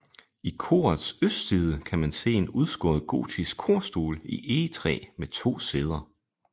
I korets østside kan man se en udskåret gotisk korstol i egetræ med to sæder